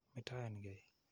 Metoen kei.